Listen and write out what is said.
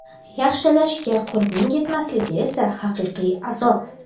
yaxshilashga qurbing yetmasligi esa haqiqiy azob.